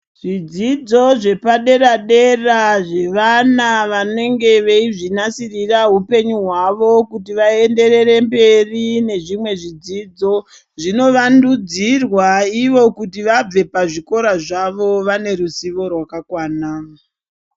Zvidzidzo zvepadera-dera zvevana vanenge veizvinasirira hupenyu hwavo kuti vaenderere mberi nezvimwe zvidzidzo. Zvinovandudzirwa ivo kuti vabve pazvikora zvavo vaneruzivo rwakakwana.